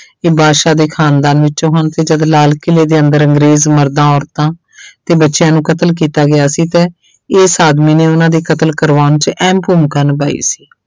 ਇਹ ਬਾਦਸ਼ਾਹ ਦੇ ਖਾਨਦਾਨ ਵਿੱਚੋਂ ਹਨ ਤੇ ਜਦ ਲਾਲ ਕਿਲ੍ਹੇ ਦੇ ਅੰਦਰ ਅੰਗਰੇਜ਼ ਮਰਦਾਂ ਔਰਤਾਂ ਤੇ ਬੱਚਿਆਂ ਨੂੰ ਕਤਲ ਕੀਤਾ ਗਿਆ ਸੀ ਤੇ ਇਸ ਆਦਮੀ ਨੇ ਉਹਨਾਂ ਦੀ ਕਤਲ ਕਰਵਾਉਣ 'ਚ ਅਹਿਮ ਭੂਮਿਕਾ ਨਿਭਾਈ ਸੀ।